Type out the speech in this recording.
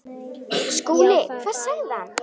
SKÚLI: Hvað sagði hann?